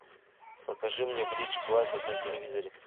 покажи мне бридж классик на телевизоре